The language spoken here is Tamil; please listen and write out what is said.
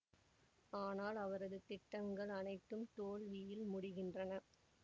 ஆனால் அவரது திட்டங்கள் அனைத்தும் தோல்வியில் முடிகின்றன